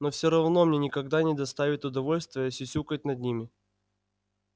но всё равно мне никогда не доставит удовольствия сюсюкать над ними